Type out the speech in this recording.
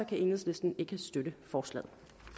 kan enhedslisten ikke støtte forslaget